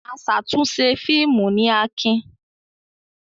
Aṣàtúnṣe fíìmù ni Akin.